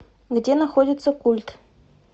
где находится культ